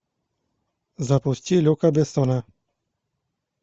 запусти люка бессона